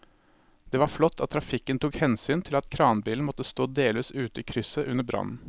Det var flott at trafikken tok hensyn til at kranbilen måtte stå delvis ute i krysset under brannen.